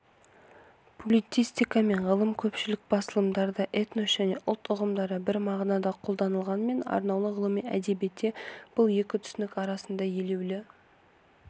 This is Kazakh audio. публицистика мен ғылыми көпшілік басылымдарда этнос және ұлт ұғымдары бір мағынада колданылғанымен арнаулы ғылыми әдебиетте бұл екі түсінік арасында елеулі